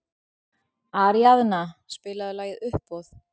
Aríaðna, spilaðu lagið „Uppboð“.